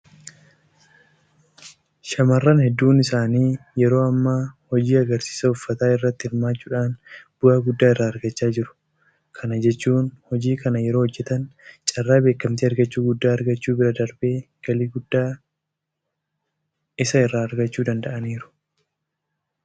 Shaamarran hedduun isaanii yeroo ammaa hojii agarsiisa uffataa irratti hirmaachuudhaan bu'aa guddaa irraa argachaa jiru. Kana jechuun hojii kana yeroo hojjetan carraa beekamtii argachuu guddaa argachuu bira darbee galii guddaa isa irraa argachuu danda'aniiru.